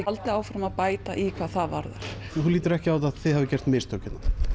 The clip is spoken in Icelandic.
haldið áfram að bæta í það hvað það varðar þú heldur ekki að þið hafið gert mistök